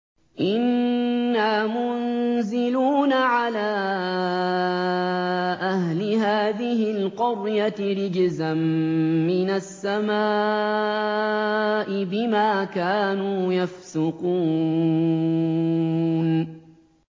إِنَّا مُنزِلُونَ عَلَىٰ أَهْلِ هَٰذِهِ الْقَرْيَةِ رِجْزًا مِّنَ السَّمَاءِ بِمَا كَانُوا يَفْسُقُونَ